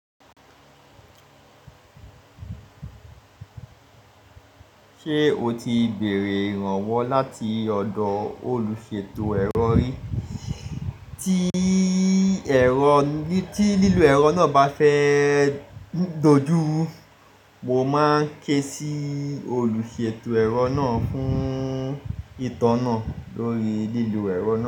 Ṣé o ti bèrè ìrànwọ́ láti ọ̀dọ̀ olùṣètò ẹ̀rọ rí? Tí lílo ẹ̀rọ náà bá fẹ́ dojú ru, mo máa ké sí olùṣètò ẹ̀rọ náà fún ìtọ̀ náà lórí lílo ẹ̀rọ náà.